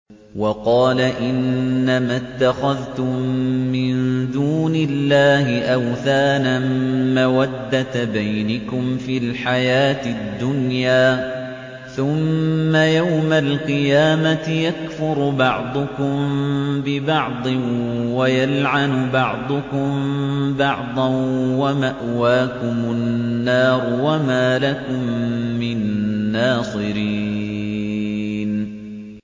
وَقَالَ إِنَّمَا اتَّخَذْتُم مِّن دُونِ اللَّهِ أَوْثَانًا مَّوَدَّةَ بَيْنِكُمْ فِي الْحَيَاةِ الدُّنْيَا ۖ ثُمَّ يَوْمَ الْقِيَامَةِ يَكْفُرُ بَعْضُكُم بِبَعْضٍ وَيَلْعَنُ بَعْضُكُم بَعْضًا وَمَأْوَاكُمُ النَّارُ وَمَا لَكُم مِّن نَّاصِرِينَ